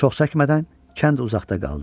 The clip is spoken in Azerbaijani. Çox çəkmədən kənd uzaqda qaldı.